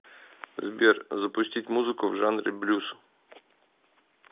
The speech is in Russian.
сбер запустить музыку в жанре блюз